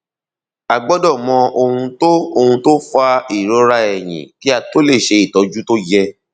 a gbọdọ mọ ohun tó ohun tó fa ìrora ẹyìn kí a tó lè ṣe ìtọjú tó yẹ